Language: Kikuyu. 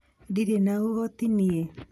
Ndĩrĩ na ũhoti nie.